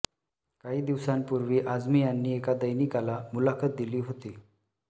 काही दिवसांपूर्वी आझमी यांनी एका दैनिकाला मुलाखत दिली होती